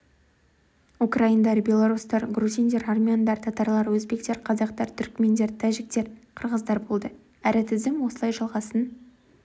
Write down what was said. украиндар белорустар грузиндер армяндар татарлар өзбектер қазақтар түрікмендер тәжіктер қырғыздар болды әрі тізім осылай жалғасын